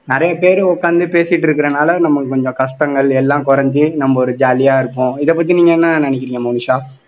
நிறைய பேர் உட்கார்ந்து பேசிட்டு இருக்கிறதுனால நமக்கு கொஞ்சம் கஷ்டங்கள் எல்லாம் குறைஞ்சு நம்ம ஒரு jolly ஆ இருப்போம் இதை பத்தி நீங்க என்ன நினைக்கிறீங்க மோனிஷா